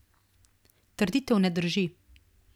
Trditev ne drži.